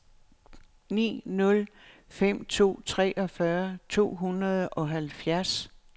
ni nul fem to treogfyrre to hundrede og halvfjerds